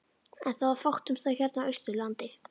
En það var fátt um það hérna á Austurlandi.